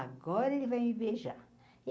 Agora ele vai me beijar.